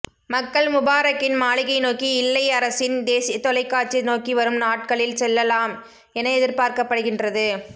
மக்கள் முபாரக்கின் மாளிகை நோக்கி இல்லை அரசின் தேசிய தொலைக்காட்சி நோக்கி வரும் நாட்களில் செல்லலாம் என எதிர்பார்க்கப்படுகின்றது